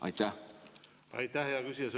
Aitäh, hea küsija!